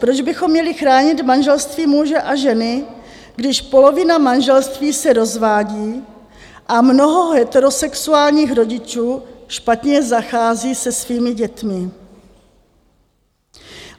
Proč bychom měli chránit manželství muže a ženy, když polovina manželství se rozvádí a mnoho heterosexuálních rodičů špatně zachází se svými dětmi?